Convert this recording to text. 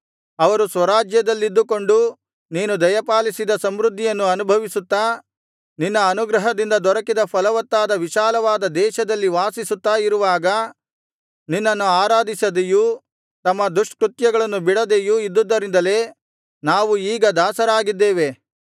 ಅವರು ಸ್ವರಾಜ್ಯದಲ್ಲಿದ್ದುಕೊಂಡು ನೀನು ದಯಪಾಲಿಸಿದ ಸಮೃದ್ಧಿಯನ್ನು ಅನುಭವಿಸುತ್ತಾ ನಿನ್ನ ಅನುಗ್ರಹದಿಂದ ದೊರಕಿದ ಫಲವತ್ತಾದ ವಿಶಾಲವಾದ ದೇಶದಲ್ಲಿ ವಾಸಿಸುತ್ತಾ ಇರುವಾಗ ನಿನ್ನನ್ನು ಆರಾಧಿಸದೆಯೂ ತಮ್ಮ ದುಷ್ಕೃತ್ಯಗಳನ್ನು ಬಿಡದೆಯೂ ಇದ್ದುದರಿಂದಲೇ ನಾವು ಈಗ ದಾಸರಾಗಿದ್ದೇವೆ